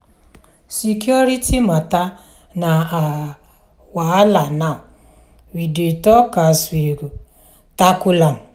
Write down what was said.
security mata na our wahala now we dey talk as we go tackle am.